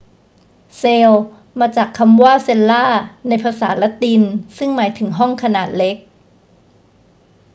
เซลล์ มาจากคำว่า cella ในภาษาละตินซึ่่งหมายถึงห้องขนาดเล็ก